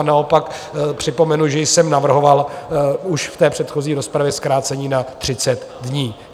A naopak připomenu, že jsem navrhoval už v té předchozí rozpravě zkrácení na 30 dní.